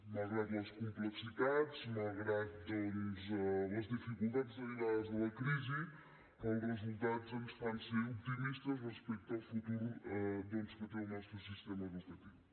malgrat les complexitats malgrat les dificultats derivades de la crisi els resultats ens fan ser optimistes respecte al futur doncs que té el nostre sistema educatiu